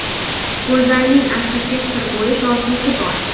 Go‘zalning arxitektor bo‘lish orzusi bor.